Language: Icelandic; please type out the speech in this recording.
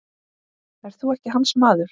Ert þú ekki hans maður?